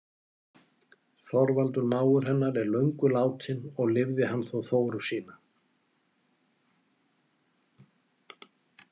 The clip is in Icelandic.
Þorvaldur mágur hennar er löngu látinn og lifði hann þó Þóru sína.